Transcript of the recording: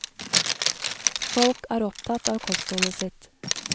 Folk er opptatt av kostholdet sitt.